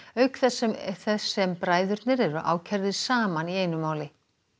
auk þess sem þess sem bræðurnir eru ákærðir saman í einu máli